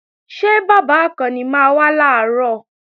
Ṣé bàbá Àkànni máa wá làárọ̀?